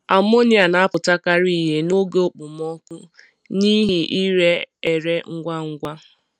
Amonia na-apụtakarị ihe n’oge okpomọkụ n'ihi ire ere ngwa ngwa.